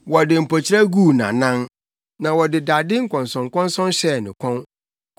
Wɔde mpokyerɛ guu ne nʼanan, na wɔde dade nkɔnsɔnkɔnsɔn hyɛɛ ne kɔn,